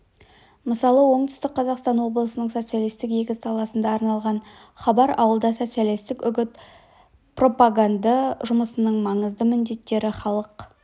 мысалы оңтүстік қазақстан облысының социалистік егіс даласына арналған хабар ауылда социалистік үгіт-пропаганды жұмысының маңызды міндеттері халық